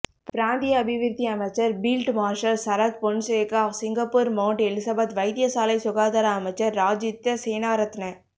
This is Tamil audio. பிராந்திய அபிவிருத்தி அமைச்சர் field marshal Sarath Fonseka Singapore mount Elizabeth வைத்தியசாலை சுகாதார அமைச்சர் ராஜித்த சேனாரத்ன